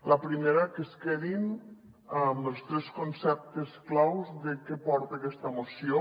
la primera que es quedin amb els tres conceptes claus de què porta aquesta moció